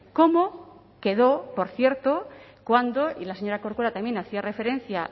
como quedó por cierto cuando y la señora corcuera también hacía referencia